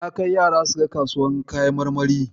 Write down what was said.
Na kai yara suga kasuwar kayan marmari.